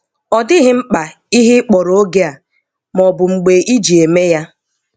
Ọ dịghị mkpa ihe ịkpọrọ oge a, maọbụ mgbe ị ji -eme ya.